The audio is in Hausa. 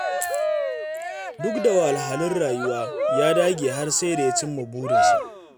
Duk da wahalhalun rayuwa, ya dage har sai da ya cimma burinsa.